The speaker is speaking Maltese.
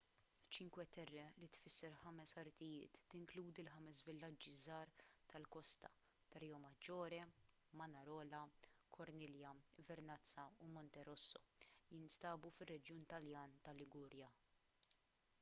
cinque terre li tfisser ħames artijiet tinkludi l-ħames villaġġi żgħar tal-kosta ta' riomaggiore manarola corniglia vernazza u monterosso li jinsabu fir-reġjun taljan tal-liguria